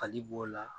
Fali b'o la